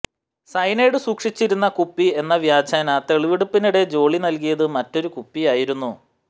cyanide സൂക്ഷിച്ചിരുന്ന കുപ്പി എന്ന വ്യാജേന തെളിവെടുപ്പിനിടെ ജോളി നൽകിയത് മറ്റൊരു കുപ്പിയായിരുന്നു